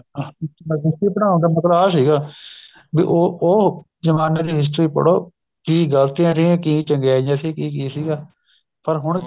ਹਾਂ history ਪੜਾਉਣ ਦਾ ਮਤਲਬ ਉਹ ਸੀਗਾ ਬੀ ਉਹ ਉਹ ਜਮਾਨੇ ਦੀ history ਪੜੋ ਕੀ ਗਲਤੀਆਂ ਰਹੀਆਂ ਕੀ ਚੰਗਿਆਈਆਂ ਸੀ ਕੀ ਕੀ ਸੀਗਾ ਪਰ ਹੁਣ ਕੀ